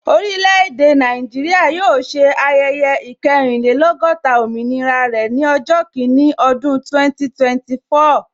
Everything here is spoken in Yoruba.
Orile-ede Naijiria yóò ṣe ayẹyẹ ikerinlelogota òmìnira rẹ ni ọjọ́ kini ọdún 2024